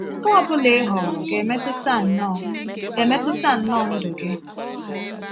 Nke ọ bụla ị họọrọ ga - emetụta nnọọ emetụta nnọọ ndụ gị.